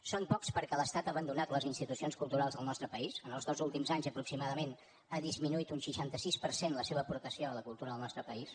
són pocs perquè l’estat ha abandonat les institucions culturals del nostre país en els dos últims anys aproximadament ha disminuït un seixanta sis per cent la seva aportació a la cultura del nostre país